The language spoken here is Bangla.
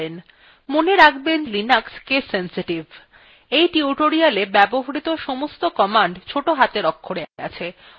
এই টিউটোরিয়ালটিতে ব্যবহৃত সমস্ত র্নিদেশাবলী ছোট হাতের অক্ষরে আছে অন্যথায় সেটি উল্লেখ করা হয়েছে